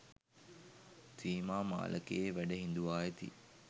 සීමා මාලකයේ වැඩ හිඳුවා ඇති